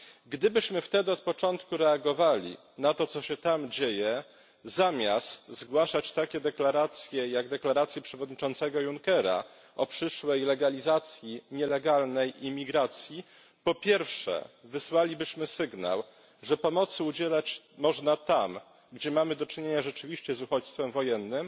Gdybyśmy wtedy od początku reagowali na to, co się tam dzieje, zamiast zgłaszać takie deklaracje jak deklaracje przewodniczącego Junckera o przyszłej legalizacji nielegalnej imigracji, po pierwsze wysłalibyśmy sygnał, że pomocy udzielać można tam, gdzie mamy rzeczywiście do czynienia z uchodźstwem wojennym.